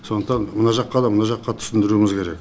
сондықтан мына жаққа да мына жаққа түсіндіруіміз керек